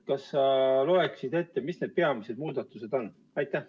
Kas sa loeksid ette, mis need peamised muudatused on?